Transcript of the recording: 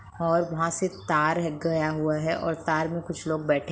और वहां से तार है गया हुआ है और तार में कुछ लोग बैठे --